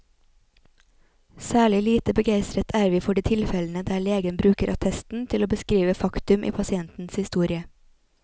Særlig lite begeistret er vi for de tilfellene der legen bruker attesten til å beskrive faktum i pasientens historie.